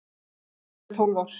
Það eru tólf ár.